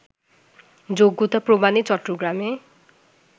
যোগ্যতা প্রমাণে চট্টগ্রামে